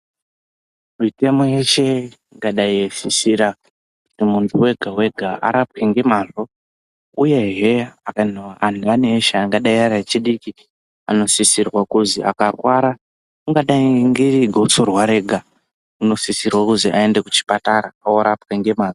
Mitemo yeshe ingadai yeisisira kuti muntu wega wega arapwe ngemazvo uyezve antu eshe angadai ari echidiki anosisirwe kuzi akarwara ungadai ngegotsorwa rega unosisirwe kuzi aende kuchipatara andorapwa ngemazvo.